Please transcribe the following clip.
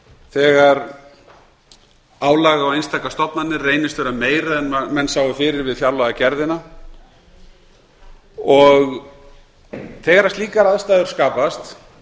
þegar álag á einstakar stofnanir reynist vera meira en menn sáu fyrir við fjárlagagerðina þegar slíkar aðstæður skapast